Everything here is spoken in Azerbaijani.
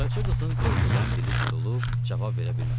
Qaraca qızın qorxudan dili tutulub cavab verə bilmədi.